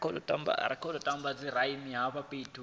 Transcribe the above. fhasi ha maga a u